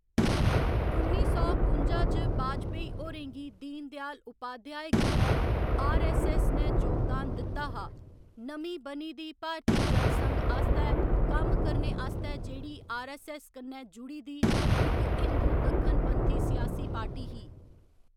उन्नी सौ कुंजा च वाजपेयी होरें गी दीनदयाल उपाध्याय कन्नै आर.ऐस्स.ऐस्स. ने जोगदान दित्ता हा, नमीं बनी दी भारती जनसंघ आस्तै कम्म करने आस्तै जेह्‌‌ड़ी आर.ऐस्स. ऐस्स. कन्नै जुड़ी दी इक हिंदू दक्खन पंथी सियासी पार्टी ही।